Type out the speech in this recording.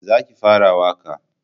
Za ki fara waƙa!